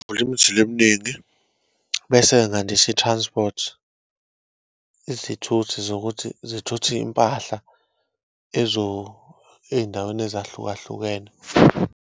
Ngivula imizila eminingi, bese ngandisa i-transport, izithuthi zokuthi zithuthe iyimpahla eyindaweni ezahlukahlukene.